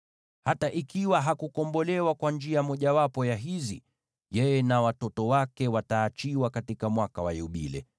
“ ‘Hata ikiwa hakukombolewa kwa njia mojawapo ya hizi, yeye na watoto wake wataachiwa katika Mwaka wa Yubile,